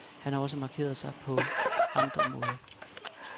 Han har også markeret sig på andre måder.